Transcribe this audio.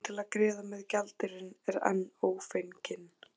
En milljónin til að greiða með gjaldeyrinn er enn ófengin.